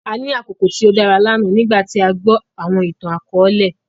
À ni àkoko tio dara lana nigbàti à gbọ awọn ìtan-àkọọlẹ.